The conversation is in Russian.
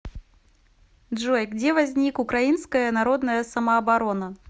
джой где возник украинская народная самооборона